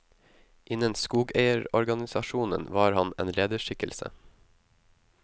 Innen skogeierorganisasjonen var han en lederskikkelse.